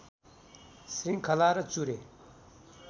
श्रृङ्खला र चुरे